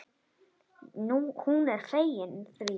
Hún er fegin því.